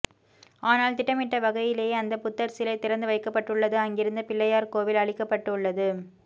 ஆனால் திடடமிட்ட வகையிலே அந்த புத்தர்சிலை திறந்து வைக்கப்பட்டுள்ளது அங்கிருந்த பிள்ளையார் கோவில் அழிக்கப்பட்டுள்ளது